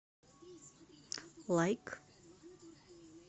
лайк